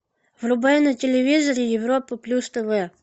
врубай на телевизоре европа плюс тв